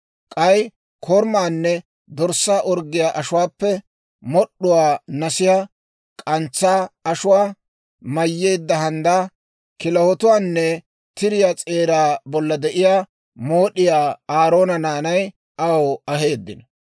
K'ay korumaanne dorssaa orggiyaa ashuwaappe mod'd'uwaa, nasiyaa, k'antsaa ashuwaa mayyeedda handdaa, kilahotuwaanne tiriyaa s'eeraa bolla de'iyaa mood'iyaa Aaroona naanay aw aheeddino.